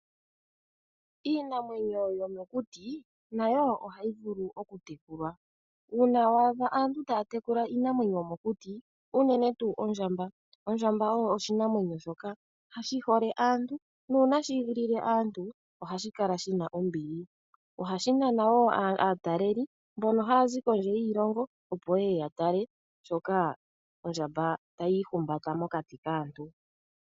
Iinamwenyo yomokuti nayo ohayi vulu okutekelwa. Uuna wa adha aantu taa tekula iinamwenyo yomokuti, unene tuu ondjamba. Ondjamba oyo oshinamwenyo shoka shi hole aantu, nuuna shi igilile aantu, ohashi kala shi na ombili. Ohashi nana wo aataleli, mbono haya zi kondje yiilongo, opo yeye ya tale shoka ondjamba tayi ihumbata mokati kaantu.